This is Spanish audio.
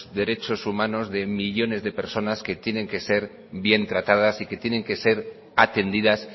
derechos humanos de millónes de personas que tienen que ser bien tratadas y que tienen que ser atendidas